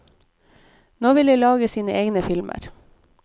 Nå vil de lage sine egne filmer.